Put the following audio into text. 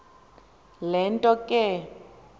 le nto ke